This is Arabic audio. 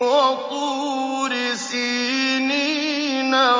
وَطُورِ سِينِينَ